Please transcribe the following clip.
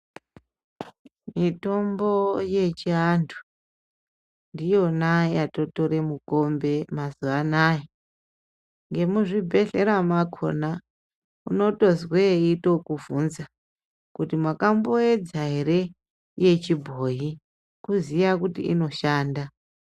Mitombo yechiantu ndiyona yatotore mikombe mazuwa anaa emuzvibhedlera mwakona unotozwe eitokubvunza kuti wakamboedza ere yechibhoyi kuziya kuti inoshanda.